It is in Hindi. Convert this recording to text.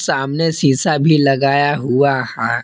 सामने शीशा भी लगाया हुआ है।